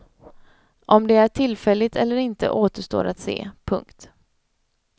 Om det är tillfälligt eller inte återstår att se. punkt